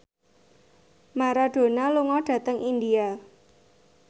Maradona lunga dhateng India